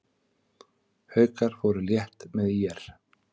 Haukar fóru létt með ÍR